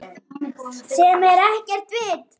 Sem er ekkert vit.